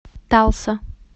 талса